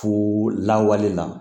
Fo lawale la